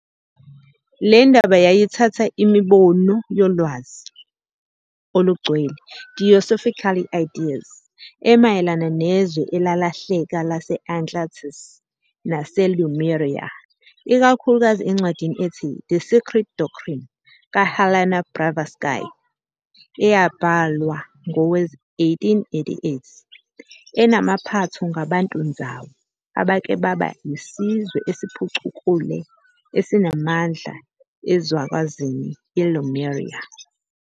Lendaba yayithatha imibono yolwazi olungcwele, theosophical ideas," emayelana "nezwe elalahleka" lase-"Atlantis" nase-"Lemuria", ikakhulukazi encwadini ethi 'The Secret Doctrine' ka-Helena Blavatsky eyabhalwa ngowe-1888, enamaphatho "ngabantu-nzawu" abake baba yisizwe esiphucukule esinamandla ezwekazini iLemuria".